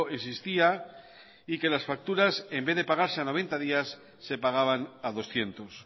existía y que las facturas en vez de pagarse a noventa días se pagaban a doscientos